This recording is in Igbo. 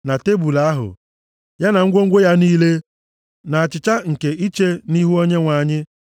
na tebul ahụ, ya na ngwongwo ya niile na achịcha nke iche nʼIhu Onyenwe anyị,